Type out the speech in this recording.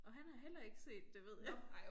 Og han har heller ikke set det ved jeg